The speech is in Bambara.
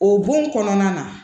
O bon kɔnɔna na